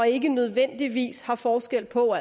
ikke nødvendigvis har forskel på